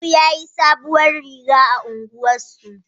Barau yayi sabuwar rigiya a unguwar su